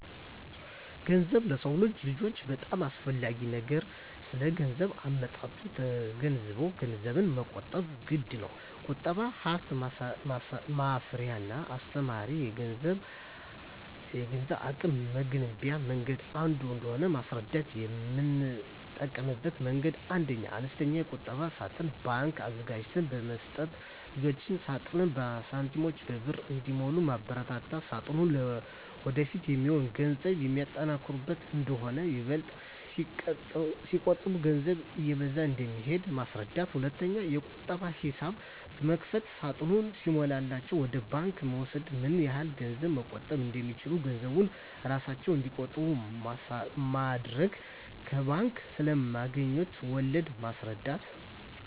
ገንዘብ ለሰው ልጆች በጣም አስፈላጊ ነገር ነው ስለገንዘብ አመጣጡ ተገንዝበንም ገንዘብን መቆጠብ ግድነው። ቁጠባ ሀብት ማፍሪያና አስተማማኝ የገንዘብ አቅም መገንቢያ መንገድ አንዱ እንደሆነ ማስረዳት: የምጠቀምበት መንገድ 1ኛ, አነስተኛ የቁጠባ ሳጥን (ባንክ) አዘጋጅተን በመስጠት ልጆች ሳጥኑን በሳንቲሞችና በብር እንዲሞሉ ማበርታት ሳጥኑ ለወደፊት የሚሆን ገንዘብ የሚያጠራቅሙበት እንደሆነና ይበልጥ ሲቆጥቡ ገንዘባቸው እየበዛ እንደሚሄድ ማስረዳት። 2ኛ, የቁጠባ ሂሳብ በመክፈት ሳጥኑ ሲሞላላቸው ወደ ባንክ ወስደው ምን ያህል ገንዘብ መቆጠብ እንደቻሉ ገንዘቡን እራሳቸው እንዲቆጥሩ ማድረግ። ከባንክ ስለማገኙት ወለድ ማስረዳት።